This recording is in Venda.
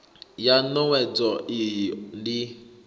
ya n owedzo iyi ndi